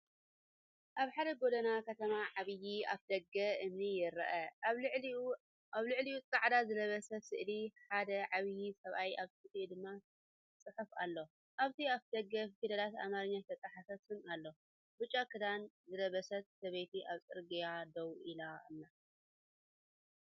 ኣብ ሓደ ጎደና ከተማ ዓቢ ኣፍደገ እምኒ ይርአ፤ ኣብ ልዕሊኡፃዕዳ ዝለበሰ ስእሊ ሓደ ዓቢ ሰብኣይ ኣብ ትሕቲኡ ድማ ጽሑፍ ኣሎ። ኣብቲ ኣፍደገ ብፊደላት ኣምሓርኛ ዝተጻሕፈ ስም ኣሎ። ብጫ ክዳን ዝለበሰት ሰብይቲ ኣብ ጽርግያ ደው ኢላ ኣላ።